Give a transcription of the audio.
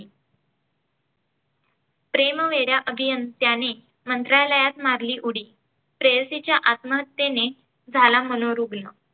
प्रेमवेड्या अभियंत्याने मंत्रालयात मारली उडी. प्रेयसीच्या आत्महत्येने झाला मनोरुग्ण.